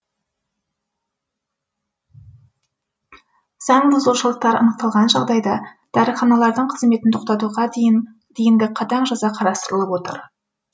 заңбұзушылықтар анықталған жағдайда дәріханалардың қызметін тоқтатуға дейінгі қатаң жаза қарастырылып отыр